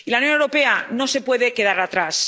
La Unión Europea no se puede quedar atrás.